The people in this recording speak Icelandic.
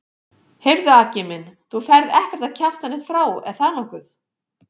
Heyrðu Aggi minn. þú ferð ekkert að kjafta neitt frá, er það nokkuð?